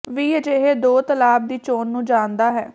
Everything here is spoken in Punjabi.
ਵੀ ਅਜਿਹੇ ਦੋ ਤਲਾਬ ਦੀ ਚੋਣ ਨੂੰ ਜਾਣਦਾ ਹੈ